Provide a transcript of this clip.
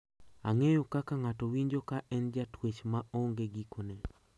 Ang`eyo kaka ng`ato winjo ka en jatwech ma onge gikone.